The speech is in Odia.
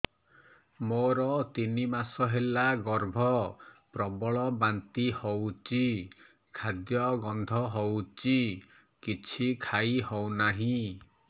ମୋର ତିନି ମାସ ହେଲା ଗର୍ଭ ପ୍ରବଳ ବାନ୍ତି ହଉଚି ଖାଦ୍ୟ ଗନ୍ଧ ହଉଚି କିଛି ଖାଇ ହଉନାହିଁ